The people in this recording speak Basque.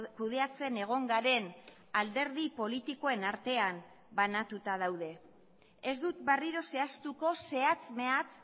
kudeatzen egon garen alderdi politikoen artean banatuta daude ez dut berriro zehaztuko zehatz mehatz